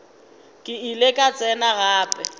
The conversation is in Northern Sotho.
ke ile ka tsena gape